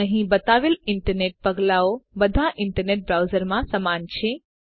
અહીં બતાવેલ ઈન્ટરનેટ પગલાંઓ બધાં ઈન્ટરનેટ બ્રાઉઝરોમાં સમાન છે